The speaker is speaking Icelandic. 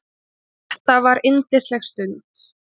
Þetta var yndisleg stund.